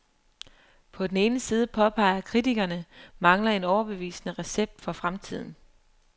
På den ene side, påpeger kritikerne, mangler en overbevisende recept for fremtiden.